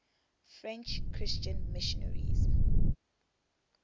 french christian missionaries